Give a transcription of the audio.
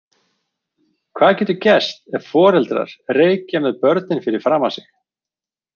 Hvað getur gerst ef foreldrar reykja með börnin fyrir framan sig?